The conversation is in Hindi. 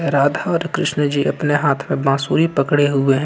राधा और कृष्णा जी अपने हाथ में बांसुरी पकड़े हुए हैं।